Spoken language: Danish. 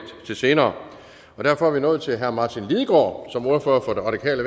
senere derfor er vi nået til herre martin lidegaard som ordfører for det radikale